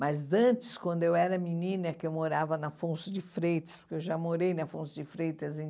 Mas antes, quando eu era menina, que eu morava na Afonso de Freitas, porque eu já morei na Afonso de Freitas em